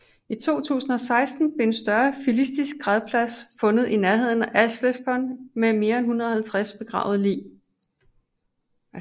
I 2016 blev en større filistisk gravplads fundet i nærheden af Ashkelon med mere en 150 begravede lig